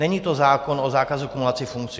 Není to zákon o zákazu kumulací funkcí.